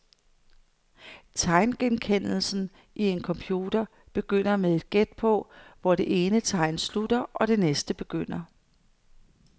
Tegngenkendelsen i en computer begynder med et gæt på, hvor det ene tegn slutter og det næste begynder.